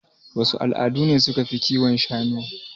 Wasu al'ada ne suka fi kiwon shanu?